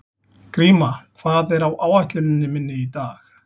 Gríma, hvað er á áætluninni minni í dag?